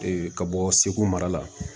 ka bɔ segu mara la